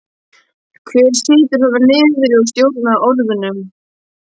Hver situr þarna niðri og stjórnar orðunum?